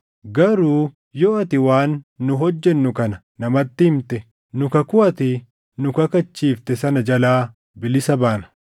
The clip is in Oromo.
Garuu yoo ati waan nu hojjennu kana namatti himte, nu kakuu ati nu kakachiifte sana jalaa bilisa baana.”